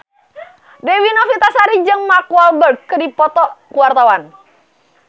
Dewi Novitasari jeung Mark Walberg keur dipoto ku wartawan